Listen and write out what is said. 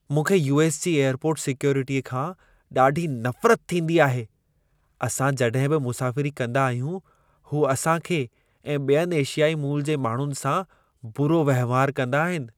मूंखे यू.एस. जी एयरपोर्ट सिक्योरिटीअ खां ॾाढी नफ़रत थींदी आहे। असां जॾहिं बि मुसाफ़िरी कंदा आहियूं, हू असां खे ऐं ॿियनि एशियाई मूल जे माण्हुनि सां बुरो वहिंवार कंदा आहिनि।